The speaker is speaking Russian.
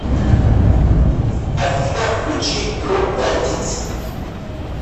афина включи дроп найнтинс